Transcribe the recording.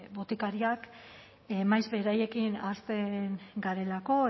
botikariak maiz beraiekin ahazten garelako